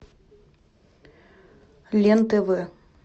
лен тв